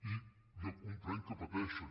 i jo comprenc que pateixin